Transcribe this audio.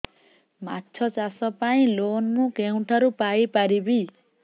ମାଛ ଚାଷ ପାଇଁ ଲୋନ୍ ମୁଁ କେଉଁଠାରୁ ପାଇପାରିବି